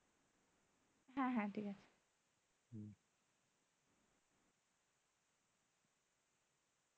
হ্যাঁ হ্যাঁ ঠিক আছে।